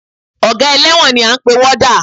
Ọgá ẹlẹ́wọ̀n ni à ń pè ní Wọ́dà